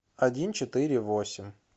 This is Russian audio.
один четыре восемь